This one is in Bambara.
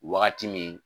Wagati min